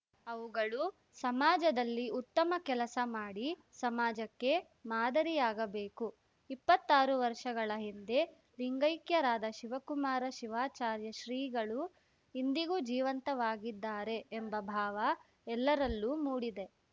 ಅವುಗಳು ಸಮಾಜದಲ್ಲಿ ಉತ್ತಮ ಕೆಲಸ ಮಾಡಿ ಸಮಾಜಕ್ಕೆ ಮಾದರಿಯಾಗಬೇಕು ಇಪ್ಪತ್ತಾರು ವರ್ಷಗಳ ಹಿಂದೆ ಲಿಂಗೈಕ್ಯರಾದ ಶಿವಕುಮಾರ ಶಿವಾಚಾರ್ಯ ಶ್ರೀಗಳು ಇಂದಿಗೂ ಜೀವಂತವಾಗಿದ್ದಾರೆ ಎಂಬ ಭಾವ ಎಲ್ಲರಲ್ಲೂ ಮೂಡಿದೆ